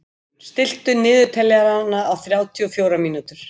Þórunn, stilltu niðurteljara á þrjátíu og fjórar mínútur.